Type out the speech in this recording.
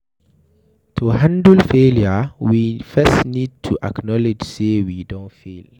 To handle failure we first need to acknowledge sey we don fail